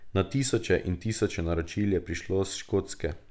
Na tisoče in tisoče naročil je prišlo s Škotske ...